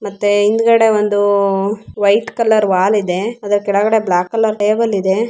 ಮತ್ತೆ ಹಿಂದ್ಗಡೆ ಒಂದು ವೈಟ್ ಕಲರ್ ವಾಲ್ ಇದೆ ಅದರ ಕೆಳಗಡೆ ಬ್ಲಾಕ್ ಕಲರ್ ಟೇಬಲ್ ಇದೆ.